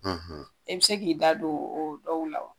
i be se k'i da do o dɔw la wa?